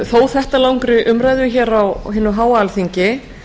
þó þetta langri umræðu hér á hinu háa alþingi